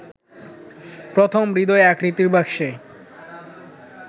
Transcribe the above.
প্রথম হৃদয় আকৃতির বাক্সে